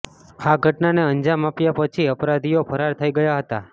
આ ઘટનાને અંજામ આપ્યા પછી અપરાધીઓ ફરાર થઈ ગયા હતાં